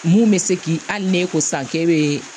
Mun bɛ se k'i hali ne ko san k'e bɛ